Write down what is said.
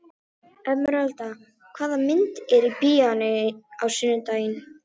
Emeralda, hvaða myndir eru í bíó á sunnudaginn?